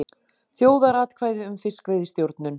Þjóðaratkvæði um fiskveiðistjórnun